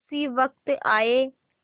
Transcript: उसी वक्त आये